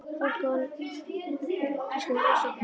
Fólk á að una pólitískum ofsóknum.